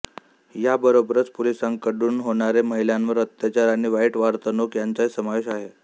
याबरोबरच पोलिसांकडून होणारे महिलांवर अत्याचार आणि वाईट वर्तणूक याचाही समावेश आहे